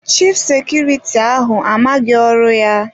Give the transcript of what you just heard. Chif sekuriti ahụ amaghị ọrụ ya.